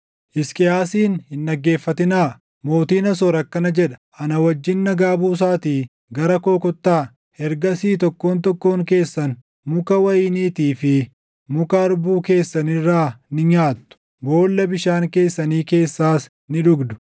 “Hisqiyaasin hin dhaggeeffatinaa. Mootiin Asoor akkana jedha: Ana wajjin nagaa buusaatii gara koo kottaa. Ergasii tokkoon tokkoon keessan muka wayiniitii fi muka harbuu keessan irraa ni nyaattu; boolla bishaan keessanii keessaas ni dhugdu;